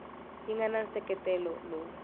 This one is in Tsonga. yi nga na nseketelo lowu